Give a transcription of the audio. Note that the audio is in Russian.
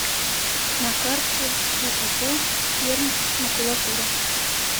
на карте ооо перммакулатура